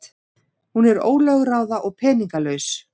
Hún er ólögráða og peningalaus.